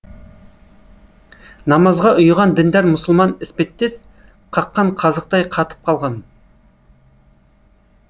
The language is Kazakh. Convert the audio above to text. намазға ұйыған діндар мұсылман іспеттес қаққан қазықтай қатып қалған